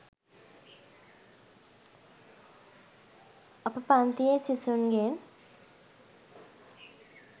අප පන්තියේ සිසුන්ගෙන්